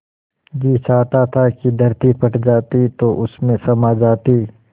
जी चाहता था कि धरती फट जाती तो उसमें समा जाती